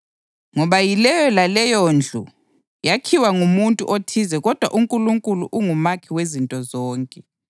Ngoba yileyo laleyondlu yakhiwa ngumuntu othize kodwa uNkulunkulu ungumakhi wezinto zonke.